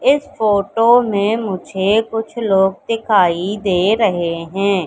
इस फोटो में मुझे कुछ लोग दिखाई दे रहे हैं।